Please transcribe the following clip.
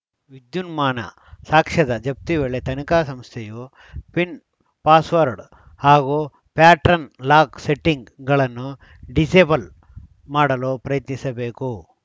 ವಿದ್ಯುನ್ಮಾನ ಸಾಕ್ಷ್ಯದ ಜಪ್ತಿ ವೇಳೆ ತನಿಖಾ ಸಂಸ್ಥೆಯು ಪಿನ್‌ ಪಾಸ್‌ವರ್ಡ್‌ ಹಾಗೂ ಪ್ಯಾಟ್ರನ್‌ ಲಾಕ್‌ ಸೆಟ್ಟಿಂಗ್‌ಗಳನ್ನು ಡಿಸೇಬಲ್‌ ಮಾಡಲು ಪ್ರಯತ್ನಿಸಬೇಕು